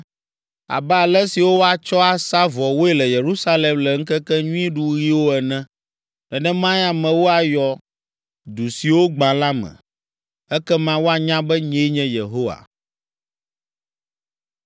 abe alẽ siwo woatsɔ asa vɔwoe le Yerusalem le ŋkekenyuiɖuɣiwo ene. Nenemae amewo ayɔ du siwo gbã la me. Ekema woanya be, nyee nye Yehowa.’ ”